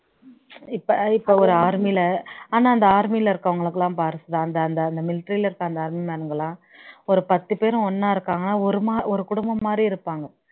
இப்ப இப்ப ஒரு army ல ஆனா அந்த army ல இருக்கவங்களுக்கு எல்லாம் பாரு சுதா அந்த அந்த அந்த military ல இருக்க அந்த army man னுங்க எல்லாம் ஒரு பத்து பேரும் ஒண்ணா இருக்காங்க ஒரு மா ஒரு குடும்பம் மாரி இருப்பாங்க